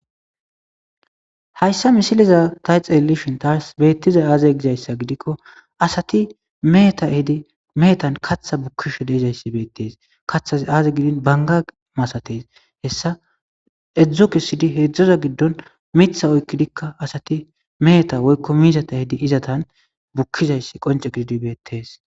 Hayssa misiliza tay xelelishin taas beettiza aaze gizayssa gidikko asati meeta hidi meetan katha bukkishu deizayssi beettees katha aaze gidin banga masatees hessa edzdzo kesidi heedzdzoza giddon mitha oykkidikka asati meeta woykko miizata hedi izatan bukkizayssi qonce gididi beettees.